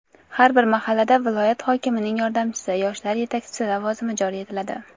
har bir mahallada viloyat hokimining yordamchisi – yoshlar yetakchisi lavozimi joriy etiladi.